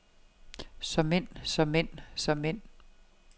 såmænd såmænd såmænd